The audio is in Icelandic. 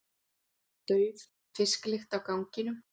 Dauf fisklykt á ganginum.